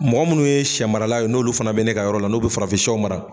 Mɔgɔ munnu ye shɛ marala ye n'olu fana bɛ ne ka yɔrɔ la n'u bɛ farafin shɛw mara.